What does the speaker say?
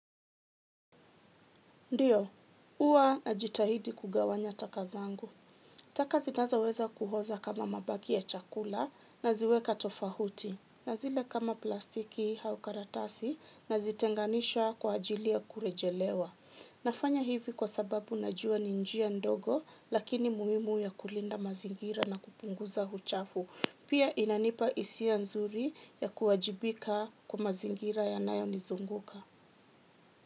Ndiyo, huwa najitahidi kugawanya taka zangu. Taka zinazoweza kuhoza kama mabaki ya chakula naziweka tofahuti. Na zile kama plastiki hau karatasi nazitenganisha kwa ajili ya kurejelewa. Nafanya hivi kwa sababu najua ni njia ndogo lakini muimu ya kulinda mazingira na kupunguza huchafu. Pia inanipa hisia nzuri ya kuwajibika kwa mazingira yanayonizunguka.